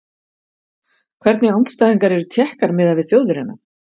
Hvernig andstæðingar eru Tékkar miðað við Þjóðverjana?